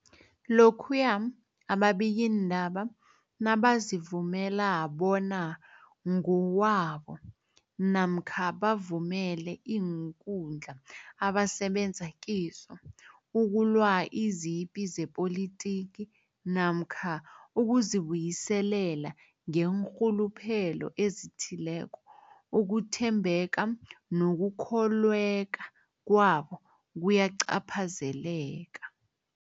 Lokhuya ababikiindaba nabazivumela bona ngokwabo namkha bavumele iinkundla abasebenza kizo ukulwa izipi zepolitiki namkha ukuzi buyiselela ngeenrhuluphelo ezithileko, ukuthembeka nokukholweka kwabo kuyacaphazeleka.